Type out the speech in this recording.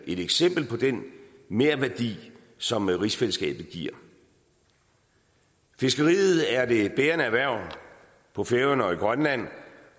et eksempel på den merværdi som rigsfællesskabet giver fiskeriet er det bærende erhverv på færøerne og i grønland